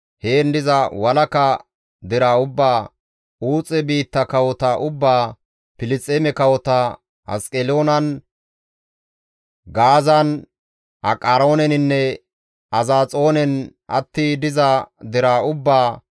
heen diza walaka deraa ubbaa, Uuxe biitta kawota ubbaa, Filisxeeme kawota, Asqeloonan, Gaazan, Aqarooneninne Azaxoonen atti diza deraa ubbaa,